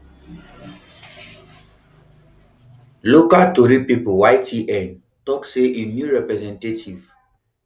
local tori pipo ytn tok say im new representative